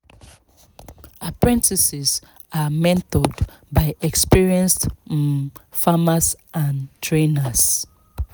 apprentices are mentored by experienced um farmers and trainers.